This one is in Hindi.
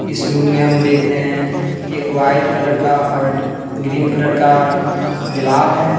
इस रूम में हम देख रहे हैं एक वाइट कलर का और ग्रीन कलर का दीवाल है।